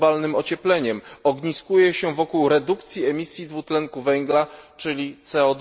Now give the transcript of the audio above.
globalnym ociepleniem ogniskuje się wokół redukcji emisji dwutlenku węgla, czyli CO